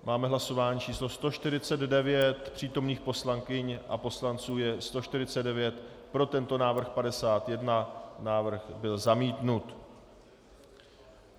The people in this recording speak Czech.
Máme hlasování číslo 149, přítomných poslankyň a poslanců je 149, pro tento návrh 51, návrh byl zamítnut.